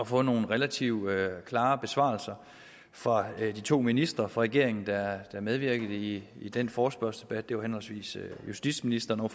få nogle relativt klare besvarelser fra de to ministre fra regeringen der medvirkede i i den forespørgselsdebat det var henholdsvis justitsministeren og